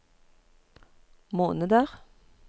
måneder